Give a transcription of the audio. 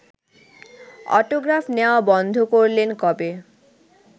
autograph নেওয়া বন্ধ করলেন কবে